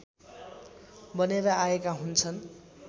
बनेर आएका हुन्छन्